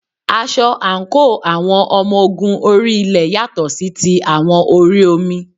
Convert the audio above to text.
Aṣọ àǹkóò àwọn ọmọ ogun orí ilẹ̀ yàtọ̀ sí ti àwọn orí omi.